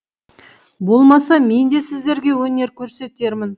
болмаса мен де сіздерге өнер көрсетермін